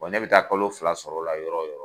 ne bɛ taa kalo fila sɔrɔ la yɔrɔ yɔrɔ